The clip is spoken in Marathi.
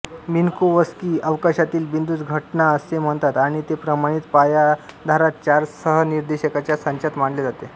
मिन्कोवस्की अवकाशातील बिंदूस घटना असे म्हणतात आणि ते प्रमाणित पायाधारांत चार सहनिर्देशकांच्या संचात मांडले जाते